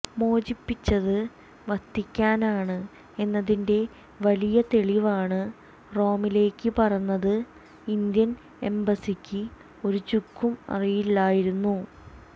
മോചിപ്പിച്ചത് വത്തിക്കാനാണ് എന്നതിന്റെ വലിയ തെളിവാണ് റോമിലേക്ക് പറന്നത് ഇന്ത്യൻ എംബസിക്ക് ഒരു ചുക്കും അറിയില്ലായിരുന്നു